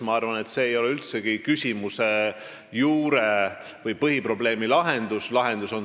Ma arvan, et see ei ole üldsegi küsimuse juure või põhiprobleemi lahendus.